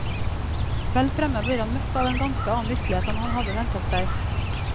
Vel fremme blir han møtt av en ganske annen virkelighet enn han hadde ventet seg.